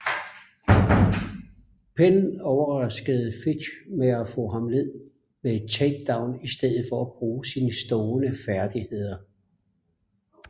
Penn overraskede Fitch med at få ham ned med et takedown i stedet for at bruge sine stående færdigheder